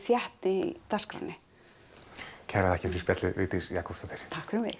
þéttni í dagskránni kærar þakkir fyrir spjallið Vigdís Jakobsdóttir takk fyrir mig